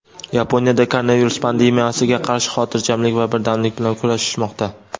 Yaponiyada koronavirus pandemiyasiga qarshi xotirjamlik va birdamlik bilan kurashishmoqda.